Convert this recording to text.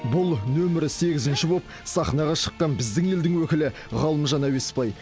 бұл нөмір сегізінші болып сахнаға шыққан біздің елдің өкілі ғалымжан әуеспай